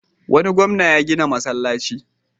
Wani gwamna ya gina masallaci.